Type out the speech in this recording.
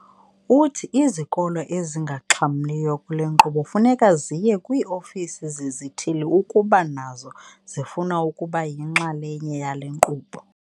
Uthi izikolo ezingaxhamliyo kule nkqubo funeka ziye kwii-ofisi zezithili ukuba nazo zifuna ukuba yinxalenye yale nkqubo.